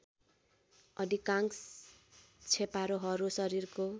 अधिकांश छेपारोहरू शरीरको